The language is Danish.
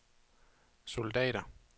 soldater